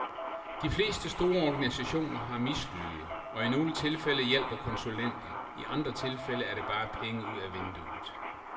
De fleste store organisationer har mislyde, og i nogle tilfælde hjælper konsulenter, i andre tilfælde er det bare penge ud af vinduet.